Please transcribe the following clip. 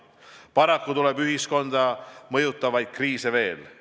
Paraku tuleb ühiskonda mõjutavaid kriise veel.